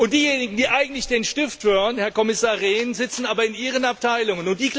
Diejenigen, die eigentlich den Stift führen, Herr Kommissar Rehn, sitzen aber in Ihren Abteilungen.